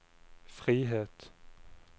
frihet